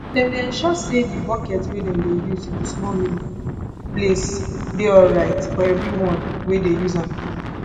dem dey ensure say de bucket wey dem dey use for small milk place dey alright for everyone wey dey use am